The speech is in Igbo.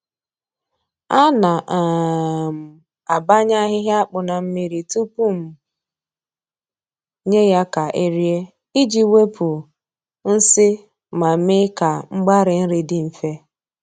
Ana um m abanya ahịhịa akpụ na mmiri tupu m nye ya ka e rie iji wepụ nsị ma mee ka mgbari nri dị mfe.